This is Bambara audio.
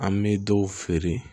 An bɛ dɔw feere